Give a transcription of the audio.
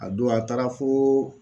A don a taara foo